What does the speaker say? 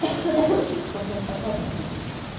что просто надо прокладки купить